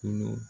Kolo